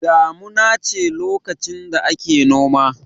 Damuna ce lokacin da ake noma.